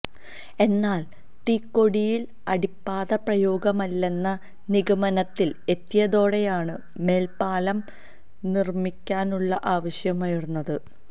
എന്നാല് തിക്കോടിയില് അടിപ്പാത പ്രായോഗികമല്ലെന്ന നിഗമനത്തില് എത്തിയതോടെയാണ് മേല്പ്പാലം നിര്മിക്കാനുള്ള ആവശ്യമുയര്ന്നത്